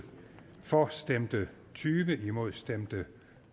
for stemte tyve imod stemte